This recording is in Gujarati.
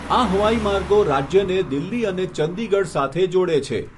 આ હવાઈ માર્ગો રાજ્યને દિલ્હી અને ચંદીગઢ સાથે જોડે છે.